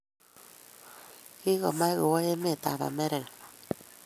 Kigomach kowa emetab Amerika